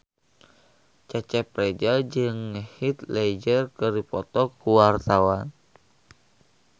Cecep Reza jeung Heath Ledger keur dipoto ku wartawan